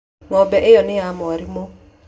Ng'ombe ĩyo nĩ ya mwarimũ